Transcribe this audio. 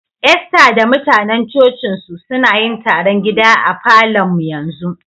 Esther da mutanen coci'n su, suna yin taron gida a Falo'n mu yanzu.